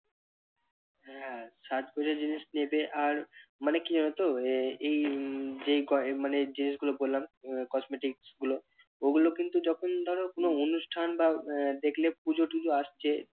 হ্যাঁ সাজগোজের জিনিস নেবে আর মানে কি জানো তো এই এই গয়~ মানে এই জিনিসগুলো বললাম আহ cosmetics গুলো, ওগুলো কিন্তু যখন ধরো কোন অনুষ্ঠান বা দেখলে পুজো টুজো আসছে